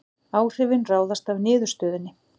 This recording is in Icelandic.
Áhrifin ráðast af niðurstöðunni